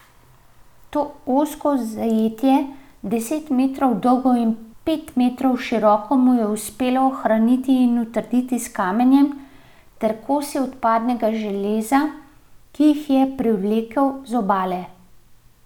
To ozko zajetje, deset metrov dolgo in pet metrov široko mu je uspelo ohraniti in utrditi s kamenjem ter kosi odpadnega železa, ki jih je privlekel z obale.